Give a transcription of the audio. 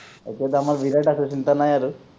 এতিয়াতো আমাৰ বিৰাট আছে চিন্তা নাই আৰু